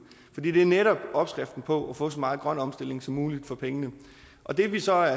fordi det netop er opskriften på at få så meget grøn omstilling som muligt for pengene det vi så